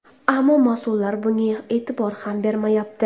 Ammo mas’ullar bunga e’tibor ham bermayapti”.